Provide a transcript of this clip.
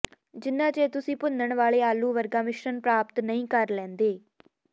ਜਿੰਨਾ ਚਿਰ ਤੁਸੀਂ ਭੁੰਨਣ ਵਾਲੇ ਆਲੂ ਵਰਗਾ ਮਿਸ਼ਰਣ ਪ੍ਰਾਪਤ ਨਹੀਂ ਕਰ ਲੈਂਦੇ